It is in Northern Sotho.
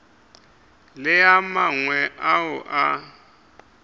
le a mangwe ao a